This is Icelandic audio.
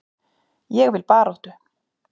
Ég vil baráttu.